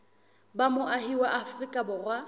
ba moahi wa afrika borwa